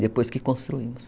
Depois que construímos.